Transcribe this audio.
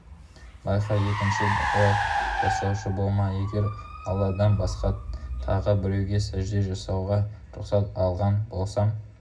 байқа екінші бұлай жасаушы болма егер алладан басқа тағы біреуге сәжде жасауға рұқсат алған болсам